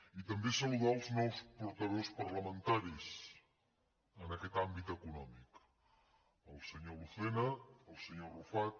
i també saludar els nous portaveus parlamentaris en aquest àmbit econòmic el senyor lucena el senyor arrufat